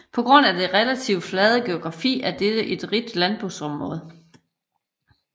På grund af den relativt flade geografi er dette et rigt landbrugsområde